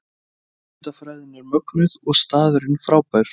Hugmyndafræðin er mögnuð og staðurinn frábær